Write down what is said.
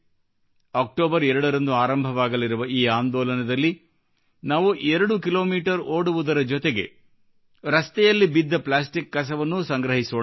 October 2 ರಂದು ಆರಂಭವಾಗಲಿರುವ ಈ ಆಂದೋಲನದಲ್ಲಿ ನಾವು 2 ಕೀ ಮೀಟರ್ ಓಡುವುದರ ಜೊತೆಗೆ ರಸ್ತೆಯಲ್ಲಿ ಬಿದ್ದ ಪ್ಲಾಸ್ಟಿಕ್ ಕಸವನ್ನೂ ಸಂಗ್ರಹಿಸೋಣ